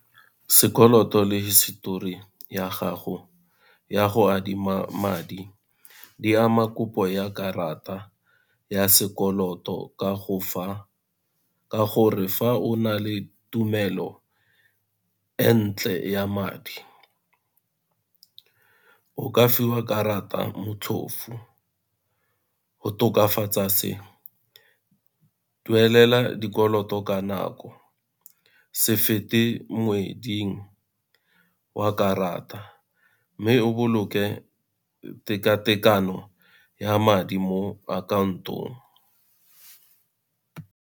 Sekoloto le histori ya gago ya go adima madi di ama kopo ya karata ya sekoloto ka gore fa o na le tumelo e ntle ya madi of ka fiwa karata motlhofu. Go tokafatsa se duelela dikoloto ka nako, se fete wa karata, mme o boloke teka-tekano ya madi mo akhaontong.